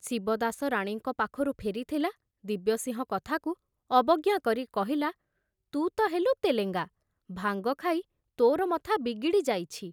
ଶିବଦାସ ରାଣୀଙ୍କ ପାଖରୁ ଫେରିଥିଲା, ଦିବ୍ୟସିଂହ କଥାକୁ ଅବଜ୍ଞା କରି କହିଲା, ତୁ ତ ହେଲୁ ତେଲେଙ୍ଗା, ଭାଙ୍ଗ ଖାଇ ତୋର ମଥା ବିଗିଡ଼ି ଯାଇଛି।